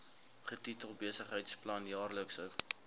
getitel besigheidsplan jaarlikse